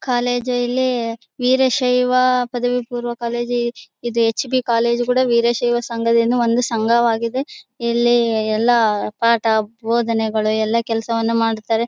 College ಇಲ್ಲಿ ವೀರಶ್ಯವ ಪದವಿ ಪುರಾವ್ ಕಾಲೇಜ್ ಇದೆ ಹೆಚ್.ಬಿ ಕಾಲೇಜ್ ಕೂಡ ವೀರಶ್ಯವ ಸಂಘದಿಂದ ಒಂದು ಸಂಘವಾಗಿದೆ ಇಲ್ಲಿ ಎಲ್ಲಾ ಪಾಠ ಬೋಧನೆಗಳು ಎಲ್ಲಾ ಕೆಲಸವನ್ನುಮಾಡುತ್ತವೆ.